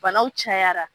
Banaw cayara